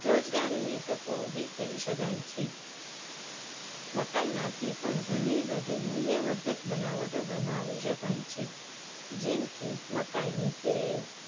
રોજગારીની તકો ઉભી કરી શકાય છે. મકાઇમાંથી પણ ઘણી બધી મુલ્યવર્ધક બનાવટો બનાવી શકાય છે. જેમ કે મકાઇનું તેલ,